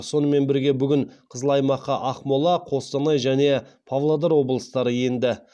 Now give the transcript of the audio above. сонымен бірге бүгін қызыл аймаққа ақмола қостанай және павлодар облыстары енді